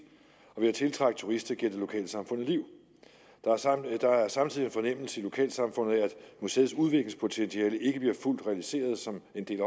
og ved at tiltrække turister giver det lokalsamfundet liv der er samtidig en fornemmelse i lokalsamfundet af at museets udviklingspotentiale ikke bliver fuldt realiseret som en del af